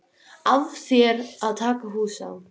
Afréðu þeir að taka hús á